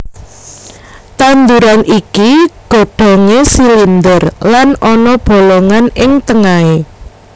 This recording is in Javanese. Tanduran iki godhongé silinder lan ana bolongan ing tengahé